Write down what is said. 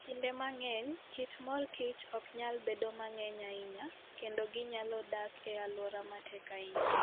Kinde mang'eny, kit mor kich ok nyal bedo mang'eny ahinya, kendo ginyalo dak e alwora matek ahinya.